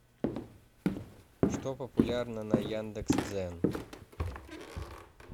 что популярно на яндекс дзен